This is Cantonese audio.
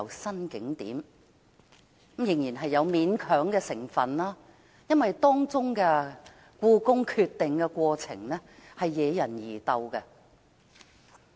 可是，當中仍有勉強的成分，原因是這項決定的過程惹人疑竇。